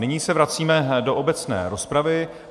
Nyní se vracíme do obecné rozpravy.